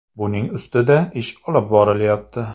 Buning ustida ish olib borilyapti.